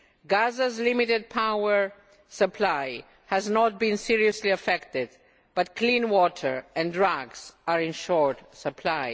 Gaza's limited power supply has not been seriously affected but clean water and drugs are in short supply.